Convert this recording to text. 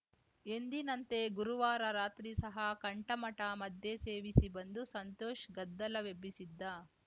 ಎಂದಿನಂತೆ ಗುರುವಾರ ರಾತ್ರಿ ಸಹ ಕಂಠಮಟಾ ಮದ್ಯ ಸೇವಿಸಿ ಬಂದು ಸಂತೋಷ್‌ ಗದ್ದಲವೆಬ್ಬಿಸಿದ್ದ